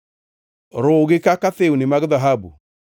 Ruwgi kaka thiwni mag dhahabu,